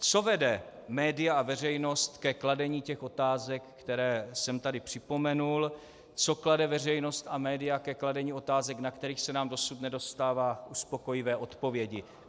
Co vede média a veřejnost ke kladení těch otázek, které jsem tady připomenul, co vede veřejnost a média ke kladení otázek, na kterých se nám dosud nedostává uspokojivé odpovědi?